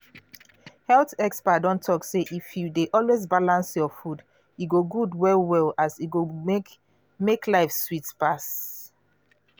health experts don talk say if you dey always balance your food e good well well as e go make make life sweet pass.